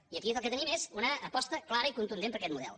i aquí el que tenim és una aposta clara i contundent per aquest model